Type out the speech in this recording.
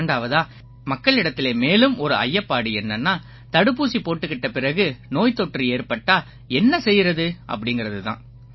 இரண்டாவதா மக்களிடத்தில மேலும் ஒரு ஐயப்பாடு என்னன்னா தடுப்பூசி போட்டுக்கிட்ட பிறகு நோய்த்தொற்று ஏற்பட்டா என்ன செய்யறது அப்படீங்கறது தான்